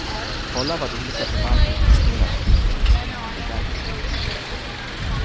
Kolla vad olika förvaltare presterat hittills innan du väljer.